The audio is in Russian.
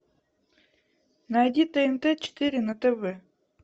найди тнт четыре на тв